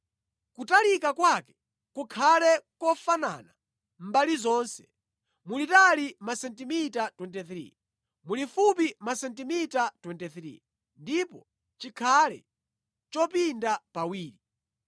Kutalika kwake kukhale kofanana mbali zonse, mulitali masentimita 23, mulifupi masentimita 23, ndipo chikhale chopinda pawiri.